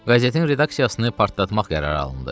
Qəzetin redaksiyasını partlatmaq qərarı alındı.